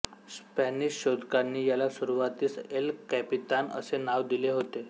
Spanish शोधकांनी याला सुरुवातीस एल कॅपितान असे नाव दिले होते